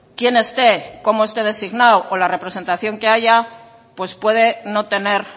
quién esté cómo esté designado o la representación que haya pues puede no tener